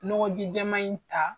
Ɲɔgɔn ji jɛman in ta